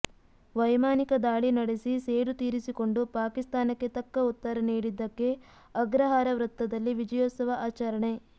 ವೈಮಾನಿಕ ದಾಳಿ ನಡೆಸಿ ಸೇಡು ತೀರಿಸಿಕೊಂಡು ಪಾಕಿಸ್ತಾನಕ್ಕೆ ತಕ್ಕ ಉತ್ತರ ನೀಡಿದ್ದಕ್ಕೆ ಅಗ್ರಹಾರ ವೃತ್ತದಲ್ಲಿ ವಿಜಯೋತ್ಸವ ಆಚರಣೆ